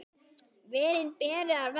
Verin beri að vernda.